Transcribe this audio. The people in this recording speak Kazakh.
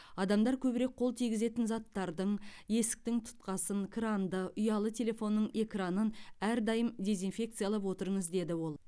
адамдар көбірек қол тигізетін заттардың есіктің тұтқасын кранды ұялы телефонның экранын әрдайым дезинфекциялап отырыңыз деді ол